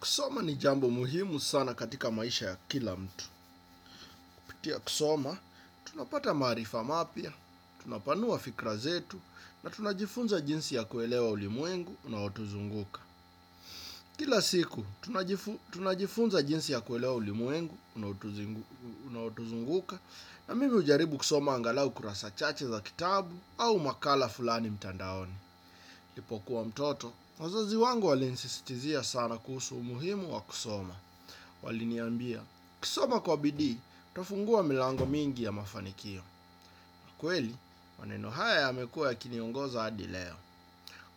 Kusoma ni jambo muhimu sana katika maisha ya kila mtu. Kupitia kusoma, tunapata maarifa mapya, tunapanua fikra zetu, na tunajifunza jinsi ya kuelewa ulimwengu, unaotuzunguka. Kila siku, tunajifunza jinsi ya kuelewa ulimwengu, unaotuzunguka, na mimi hujaribu kusoma angalau kurasa chache za kitabu au makala fulani mtandaoni. Nilipokuwa mtoto, wazazi wangu walinisisitizia sana kuhusu umuhimu wa kusoma. Waliniambia, ukisoma kwa bidii, utafungua milango mingi ya mafanikio. Kweli, maneno haya yamekuwa yakiniongoza hadi leo.